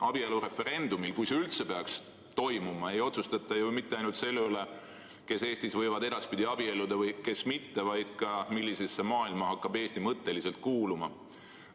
Abielureferendumil, kui see üldse peaks toimuma, ei otsustata ju mitte ainult selle üle, kes Eestis võivad edaspidi abielluda ja kes mitte, vaid ka selle üle, millisesse maailma hakkab Eesti mõtteliselt kuuluma.